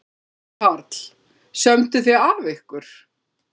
Karl: Sömdu þið af ykkur?